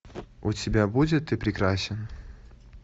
у тебя будет ты прекрасен